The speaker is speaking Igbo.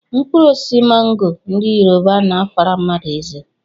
Mkpụrụosisi mango ndị yoruba na-afara mmadụ eze